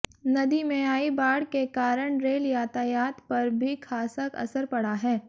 नदी में आई बाढ़ के कारण रेल यातायात पर भी खासा असर पड़ा है